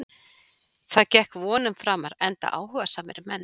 Það gekk vonum framar enda áhugasamir menn.